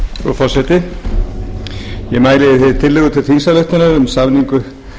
frú forseti ég mæli fyrir tillögu til þingsályktunar um samningu